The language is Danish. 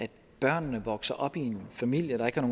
at børnene vokser op i en familie der ikke har